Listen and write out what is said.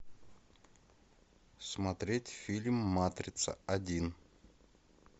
смотреть фильм матрица один